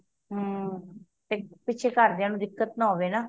ਹੱਮ ਪਿਛੇ ਘਰਦਿਆਂ ਨੂੰ ਦਿੱਕਤ ਨਾ ਹੋਵੇ ਨਾ